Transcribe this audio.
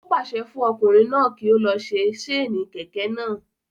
Ó pàṣẹ fún ọkùnrin náà kí ó lọ se séènì kẹ̀kẹ́ náà